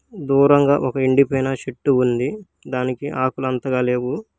దూరంగా ఒక ఎండిపోయిన చెట్టు ఉంది. దానికి ఆకులు అంతగా లేవు.